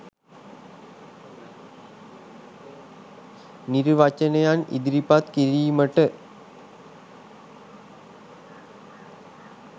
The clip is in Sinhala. නිර්වචනයන් ඉදිරිපත් කිරීමට